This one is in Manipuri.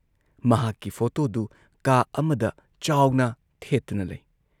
ꯃꯍꯥꯛꯀꯤ ꯐꯣꯇꯣꯗꯨ ꯀꯥ ꯑꯃꯗ ꯆꯥꯎꯅ ꯊꯦꯠꯇꯨꯅ ꯂꯩ ꯫